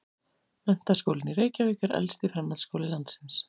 Menntaskólinn í Reykjavík er elsti framhaldsskóli landsins.